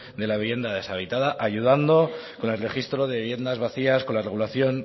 de la vivienda deshabitada ayudando con el registro de viviendas vacías con la regulación